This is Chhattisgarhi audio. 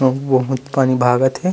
अउ बहोत पानी भागत हे ।